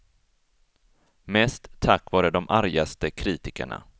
Mest tack vare de argaste kritikerna.